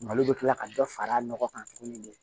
Malo bɛ kila ka dɔ fara a nɔgɔ kan tuguni